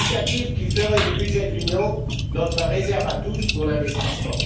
Une initiative qui ferait du budget de l'Union notre réserve à tous pour l'investissement.